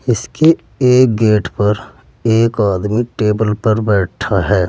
इसके एक गेट पर एक आदमी टेबल पर बैठा है।